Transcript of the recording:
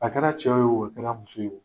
A kɛra cɛ ye wo , a kɛra muso ye wo